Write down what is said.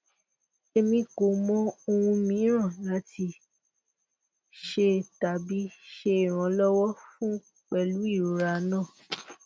emi ko mọ ohun miiran lati ṣe tabi ṣe iranlọwọ fun pẹlu irora naa